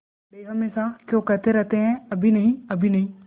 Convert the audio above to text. बड़े हमेशा क्यों कहते रहते हैं अभी नहीं अभी नहीं